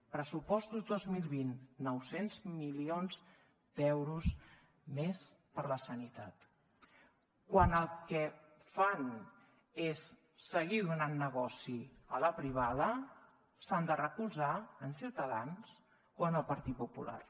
pressupostos dos mil vint nou cents milions d’euros més per a la sanitat quan el que fan és seguir donant negoci a la privada s’han de recolzar en ciutadans o en el partit popular